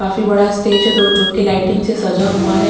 काफी बड़ा स्टेज है जो कि लाइटिंग से सजा हुआ है।